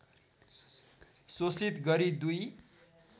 शोषित गरी दुई